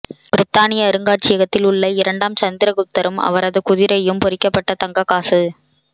பிரித்தானிய அருங்காட்சியகத்தில் உள்ள இரண்டாம் சந்திரகுப்தரும் அவரது குதிரையும் பொறிக்கப்பட்ட தங்கக் காசு